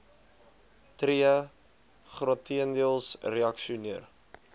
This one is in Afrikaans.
tree grotendeels reaksioner